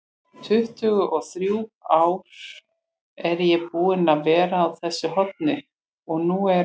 tuttugu-og-þrjú ár er ég búinn að vera á þessu horni og nú eru